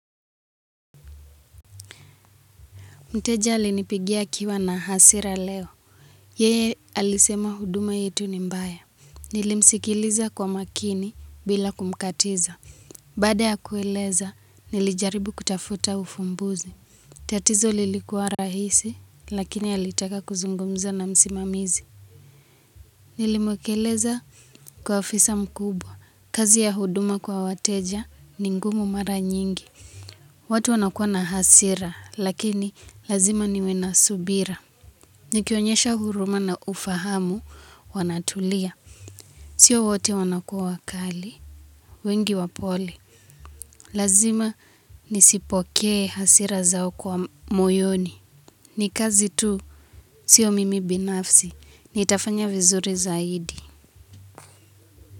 Mteja alinipigia akiwa na hasira leo. Yeye alisema huduma yetu ni mbaya. Nilimsikiliza kwa makini bila kumkatiza. Baada ya kueleza, nilijaribu kutafuta ufumbuzi. Tatizo lilikuwa rahisi, lakini alitaka kuzungumza na msimamizi. Nilimukeleza kwa ofisa mkubwa. Kazi ya huduma kwa wateja ni ngumu mara nyingi. Watu wanakuwa na hasira, lakini lazima niwe na subira. Nikionyesha huruma na ufahamu wanatulia. Sio wote wanakua wakali. Wengi wapole. Lazima nisipokee hasira zao kwa moyoni. Ni kazi tu. Sio mimi binafsi. Nitafanya vizuri zaidi.